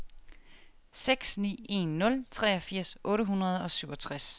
seks ni en nul treogfirs otte hundrede og syvogtres